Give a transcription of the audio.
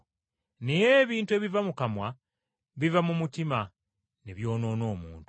Naye ebintu ebiva mu kamwa, biva mu mutima ne byonoona omuntu.